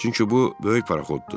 Çünki bu böyük parxoddur.